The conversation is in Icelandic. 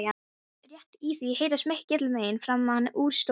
Rétt í því heyrast mikil vein framan úr stofu.